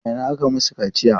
A ina aka yi masu kaciya?